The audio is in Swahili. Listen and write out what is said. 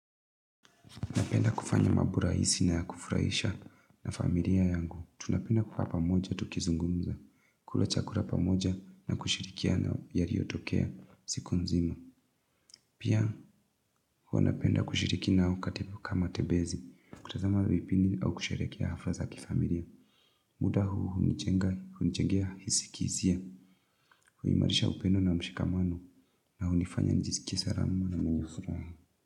Napenda kufanya mambo rahisi na kufurahisha na familia yangu. Tunapenda kukaa pamoja tukizungumza. Kula chakula pamoja na kushirikiana na yaliyotokea siku nzima. Pia hua napenda kushirikia nao katika matembezi. Kutazama vipindi au kusheherekea hafla za kifamilia. Muda huu hunijengea hisi kihisia. Huimarisha upendo na mshikamano na hunifanya nijizikie salama na mwenye furaha.